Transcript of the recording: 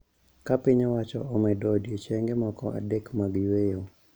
Ka piny owacho omedo odiechienge moko adek mag yueyo,